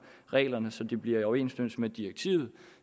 reglerne så de bliver i overensstemmelse med direktivet